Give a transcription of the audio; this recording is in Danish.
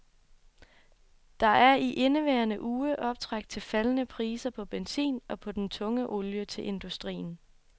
Der er i indeværende uge optræk til faldende priser på benzin og på den tunge olie til industrien.